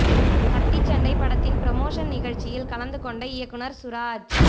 கத்தி சண்டை படத்தின் ப்ரோமோஷன் நிகழ்ச்சியில் கலந்து கொண்ட இயக்குனர் சுராஜ்